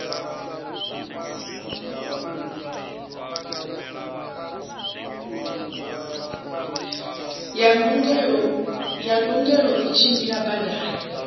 ya ndungelo u tshimbila badani